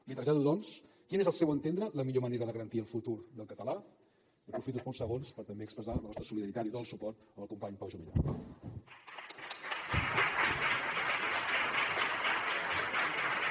li trasllado doncs quin és al seu entendre la millor manera de garantir el futur del català aprofito aquests pocs segons per també expressar la nostra solidaritat i tot el suport al company pau juvillà